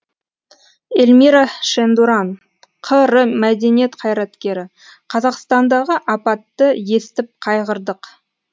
елмира шендуран қр мәдениет қайраткері қазақстандағы апатты естіп қайғырдық